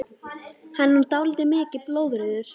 Hann er nú dálítið mikið blóðrauður!